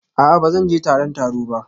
A'a ba zan je taron taro ba